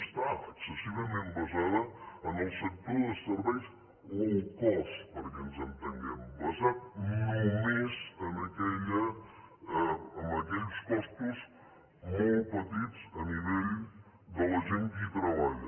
està excessivament basada en el sector de serveis low cost perquè ens entenguem basat només en aquells costos molt petits a nivell de la gent que hi treballa